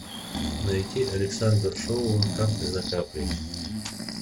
найди александр шоуа капля за каплей